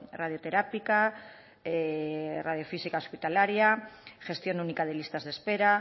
radioterápica radiofísica hospitalaria gestión única de listas de espera